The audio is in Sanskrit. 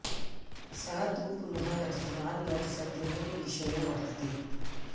सः तु पुनः कथितवान् यत् सत्यमेव ईश्वरो वर्तते